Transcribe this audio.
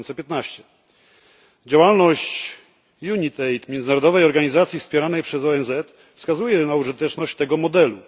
2015. Działalność UNITAID międzynarodowej organizacji wspieranej przez ONZ wskazuje na użyteczność tego modelu.